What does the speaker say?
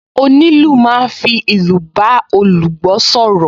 Onílù máa ń fi ìlù bá olùgbọ́ sọ̀rọ̀